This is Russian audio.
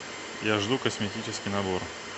я жду косметический набор